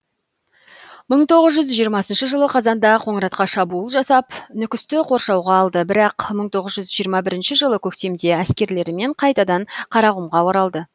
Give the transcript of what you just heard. мың тоғыз жүз жиырмасыншы жылы қазанда қоңыратқа шабуыл жасап нүкісті қоршауға алды бірақ мың тоғыз жүз жиырма бірнші жылы көктемде әскерлерімен қайтадан қарақұмға оралды